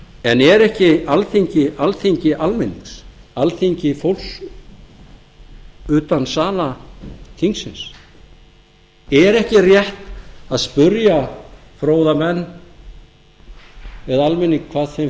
en er ekki alþingi alþingi almennings alþingi fólksins utan sala þingsins er ekki rétt að spyrja fróða menn eða almenning að því hvað þeim